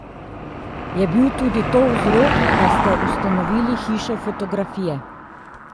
Je bil tudi to vzrok, da ste ustanovili Hišo fotografije?